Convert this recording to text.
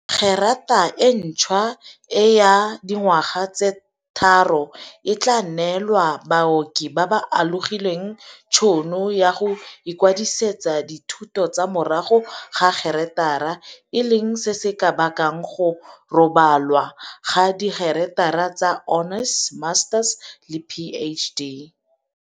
Gerata e ntšhwa e ya dingwaga tse tharo e tla neela baoki ba ba alogileng tšhono ya go ikwadisetsa dithuto tsa morago ga gerata, e leng se se ka bakang go rebolwa ga digerata tsa honours, masters le PhD.